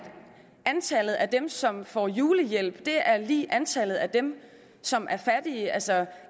antallet af dem som får julehjælp er lig antallet af dem som er fattige altså